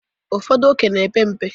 ụfọdụ ókè na-epe mpe